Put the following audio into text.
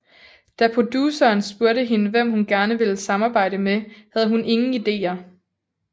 Da produceren spurgte hende hvem hun gerne ville samarbejde med havde hun ingen ideer